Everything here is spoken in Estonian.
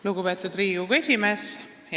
Lugupeetud Riigikogu esimees!